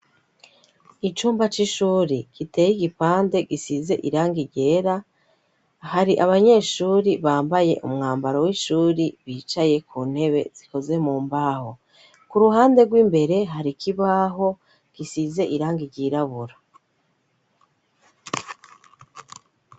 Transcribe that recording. Icumba c'ishuri giteye igipande gisize irangi ryera hari abanyeshuri bambaye umwambaro w'ishuri bicaye ku ntebe zikoze mu mbaho. Ku ruhande rw'imbere hari ikibaho gisize irangi ryirabura.